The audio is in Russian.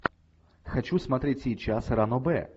хочу смотреть сейчас ранобэ